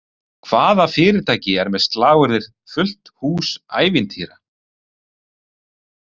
Hvaða fyrirtæki er með slagorðið “fullt hús ævintýra”?